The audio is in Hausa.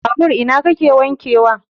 Babur ina kake wanke wa?